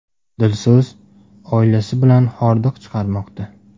Dilso‘z oilasi bilan hordiq chiqarmoqda.